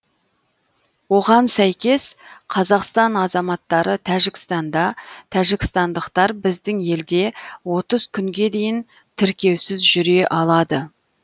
оған сәйкес қазақстан азаматтары тәжікстанда тәжікстандықтар біздің елде отыз күнге дейін тіркеусіз жүре алады